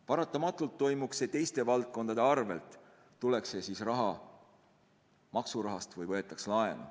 Paratamatult toimuks see teiste valdkondade arvel, tuleks see raha siis maksudest või võetaks laenu.